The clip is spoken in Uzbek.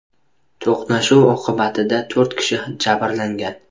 To‘qnashuv oqibatida to‘rt kishi jabrlangan.